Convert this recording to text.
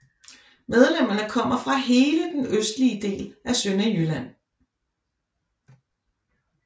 Medlemmerne kommer fra hele den østlige del af Sønderjylland